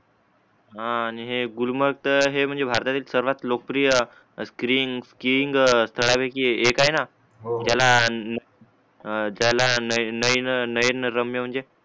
हा आणि हे गुलमर्ग च्या हे म्हणजे भारतातील सर्वात लोकप्रिय स्क्रीन स्किंग त्या पैकी एक आहे ना हो हो त्याला ह ज्याला नयन नयन नयनरम्य